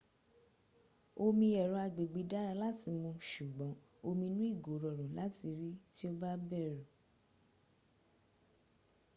omi ẹ̀rọ agbègbè dára láti mu ṣùgbọ́n omi inú ìgò rọrùn láti rí tí o bá bẹ̀rù